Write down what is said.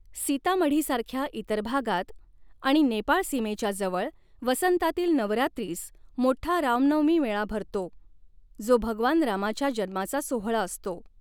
सीतामढीसारख्या इतर भागांत आणि नेपाळ सीमेच्या जवळ, वसंतातील नवरात्रीस मोठा रामनवमी मेळा भरतो, जो भगवान रामाच्या जन्माचा सोहळा असतो.